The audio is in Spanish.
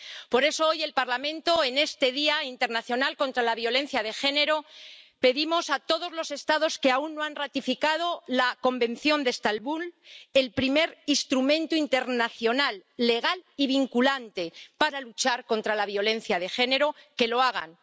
Por eso, hoy, desde el Parlamento, en este Día internacional contra la violencia de género, pedimos a todos los Estados que aún no han ratificado el Convenio de Estambul, el primer instrumento internacional, legal y vinculante para luchar contra la violencia de género, que lo hagan.